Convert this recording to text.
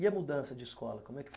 E a mudança de escola, como é que foi?